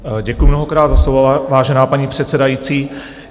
Děkuji mnohokrát za slovo, vážená paní předsedající.